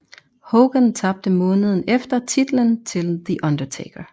Hogan tabte måneden efter titlen til The Undertaker